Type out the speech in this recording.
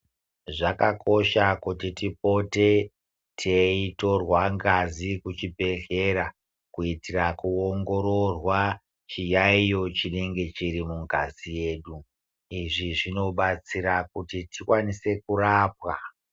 Zvakakosha kuti tipote tei torwa ngazi kuchi zvibhedhlera kuitira ku ongororwa chi yayiyo chinenge chiri mungazi yedu izvi zvino batsira kuti tikwanise kurapwa.